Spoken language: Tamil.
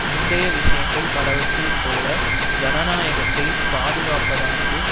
முந்தைய விஷயங்கள் பலவற்றில் போல ஜனநாயகத்தைப் பாதுகாப்பதானது